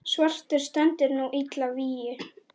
svartur stendur nú illa vígi.